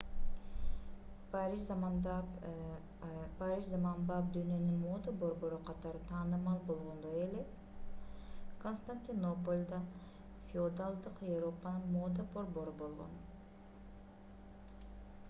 париж заманбап дүйнөнүн мода борбору катары таанымал болгондой эле константинополь да феодалдык европанын мода борбору болгон